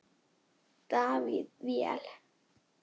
Davíð: Vel.